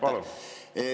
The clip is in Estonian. Palun!